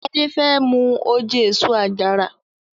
Ade femu oje eso-àjara.